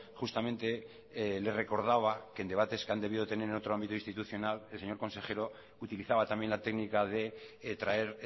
justamente le recordaba que el debates que han debido de tener en otro ámbito institucional el señor consejero utilizaba también la técnica de traer